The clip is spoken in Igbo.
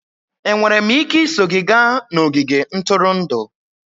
Enwere m ike iso gị gaa n'ogige ntụrụndụ?